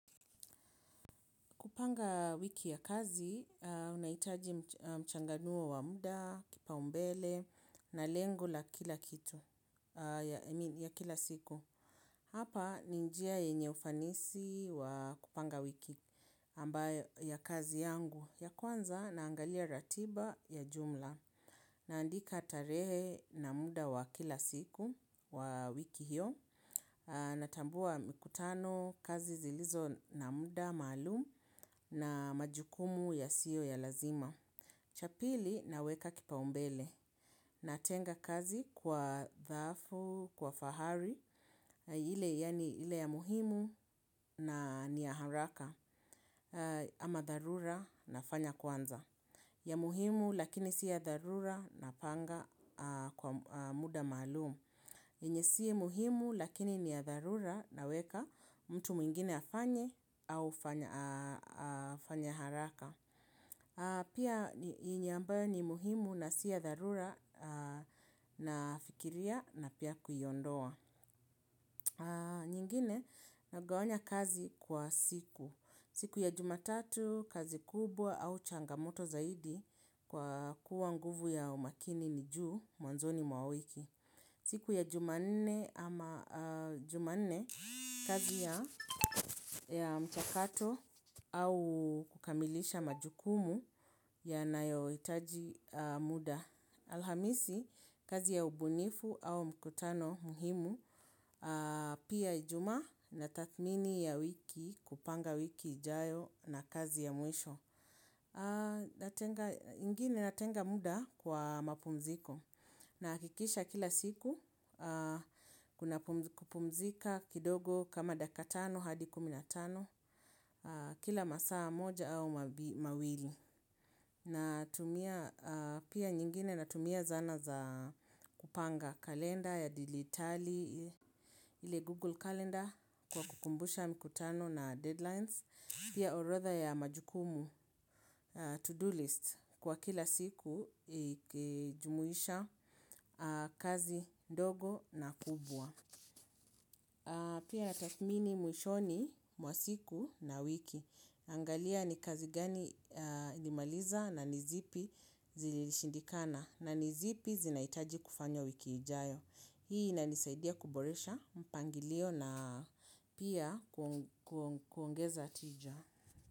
Kupanga wiki ya kazi, unaitaji mchanganuo wa muda, kipa umbele, na lengo la kila kitu. I mean, kila siku. Hapa, ni njia yenye ufanisi wa kupanga wiki ambayo ya kazi yangu. Ya kwanza, naangalia ratiba, ya jumla. Naandika tarehe, na muda wa kila siku, wa wiki hiyo. Natambua mikutano, kazi zilizo na muda maalum, na majukumu yasio ya lazima. Cha pili, naweka kipa umbele. Natenga kazi, kwa dhafu, kwa fahari, ile ya muhimu na, ni ya haraka. Ama dharura, nafanya kwanza. Ya muhimu, lakini si ya dharura, napanga kwa muda maalumu. Enye siye muhimu lakini ni ya dharura, naweka, mtu mwingine afanye, au afanye haraka. Pia, yenye ambayo ni muhimu na si ya dharura, nafikiria na pia kuiondoa. Nyingine, nagawanya kazi kwa siku. Siku ya Jumatatu, kazi kubwa au changamoto zaidi, kwa kuwa nguvu ya umakini ni juu, mwanzoni mwa wiki. Siku ya Jumanne ama Jumanne, kazi ya, mchakato au kukamilisha majukumu ya nayo hitaji muda. Alhamisi, kazi ya ubunifu, au mkutano muhimu, pia Ijumaa, nathmini ya wiki, kupanga wiki ijayo na kazi ya mwisho. A, natenga, ingine natenga muda kwa mapumziko, na akikisha kila siku, kuna kupumzika kidogo, kama daka tano hadi kumi na tano, kila masaa moja au mawili. Na tumia, pia nyingine natumia zana za kupanga kalenda ya dilitali, ile google kalenda kwa kukumbusha mkutano na deadlines, pia orotha ya majukumu. To-do list. Kwa kila siku, ikijumuisha kazi ndogo na kubwa. Pia tathmini mwishoni, mwasiku na wiki. Angalia ni kazi gani nimaliza? Na nizipi zilishindikana? Na nizipi zinaitaji kufanywa wiki ijayo. Hii inanisaidia kuboresha, mpangilio na pia kuongeza tija.